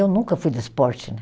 Eu nunca fui de esporte, né?